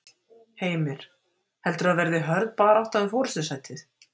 Heimir: Heldurðu að það verði hörð barátta um forystusætið?